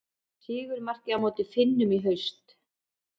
Sigurmarkið á móti Finnum í haust.